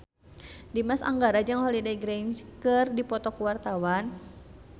Dimas Anggara jeung Holliday Grainger keur dipoto ku wartawan